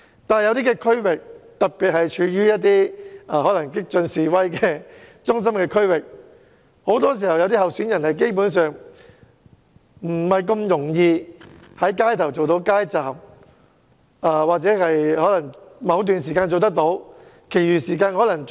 但在有些選區，特別是激進示威的中心區域，候選人很多時候基本上不太容易在街道上擺設街站，或許只能在某段時間擺設，而其餘時間則不可。